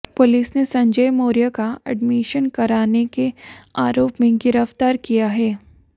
police ने संजय मौर्य का admission कराने के आरोप में गिरफ्तार किया है